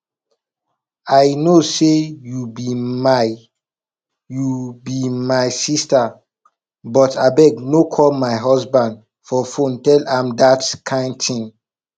i know say you be my you be my sister but abeg no call my husband for phone tell am dat kin thing